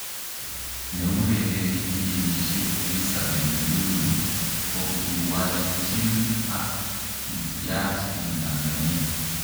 Neurereni filimbishek Elizabeth lulu kokokiwalchin ak kityaach en Tanzania